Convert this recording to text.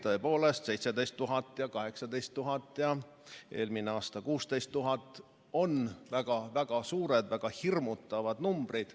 Tõepoolest, 17 000 ja 18 000 ja eelmisel aastal 16 000 on väga suured, väga hirmutavad numbrid.